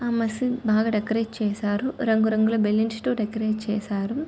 ఆ మిషన బా డెకరాటే చేసారు. రంగు రంగు ల బెలూన్స్ తో డెకరాటే చేసారు.